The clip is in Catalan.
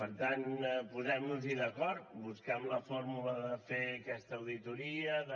per tant posem nos hi d’acord busquem la fórmula de fer aquesta auditoria de